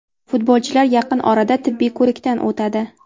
Futbolchilar yaqin orada tibbiy ko‘rikdan o‘tadi.